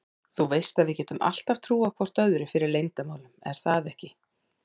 Þú veist að við getum alltaf trúað hvor öðrum fyrir leyndarmálum er það ekki?